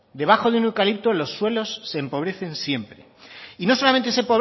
debajo de un eucalipto los suelos se empobrecen siempre y no solamente se